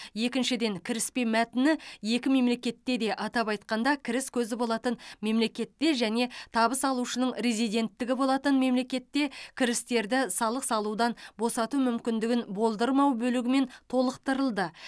екіншіден кіріспе мәтіні екі мемлекетте де атап айтқанда кіріс көзі болатын мемлекетте және табыс алушының резиденттігі болатын мемлекетте кірістерді салық салудан босату мүмкіндігін болдырмау бөлігімен толықтырылды